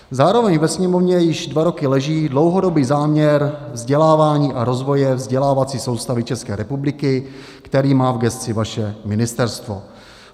Zároveň ve Sněmovně již dva roky leží dlouhodobý záměr vzdělávání a rozvoje vzdělávací soustavy České republiky, který má v gesci vaše ministerstvo.